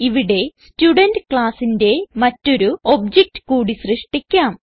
ഇവിടെ സ്റ്റുഡെന്റ് classന്റെ മറ്റൊരു ഒബ്ജക്ട് കൂടി സൃഷ്ടിക്കാം